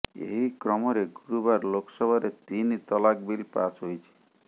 ଏହି କ୍ରମରେ ଗୁରୁବାର ଲୋକସଭାରେ ତିନି ତଲାକ ବିଲ୍ ପାସ୍ ହୋଇଛି